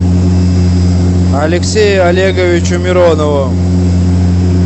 алексею олеговичу миронову